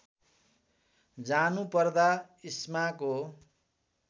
जानु पर्दा इस्माको